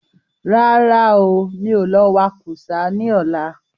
Rárá ooo, mi ò lọ wa kú sá ní ọ̀la